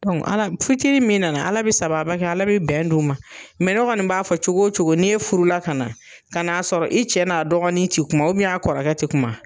Ala fitinin min na , ala be sababa kɛ ala be bɛn d'o ma . ne kɔni b'a fɔ cogo cogo ni e furu la ka na, ka na y'a sɔrɔ i cɛ n'a dɔgɔnin ti kuma a kɔrɔkɛ ti kuma